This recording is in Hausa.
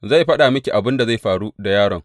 Zai faɗa miki abin da zai faru da yaron.